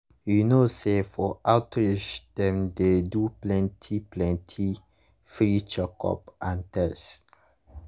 you know say for outreach dem dey do plenty plenty free checkup and test.